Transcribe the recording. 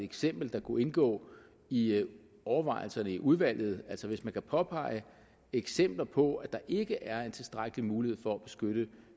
eksempel der kunne indgå i overvejelserne i udvalget altså hvis man kan påpege eksempler på at der ikke er tilstrækkelig mulighed for at beskytte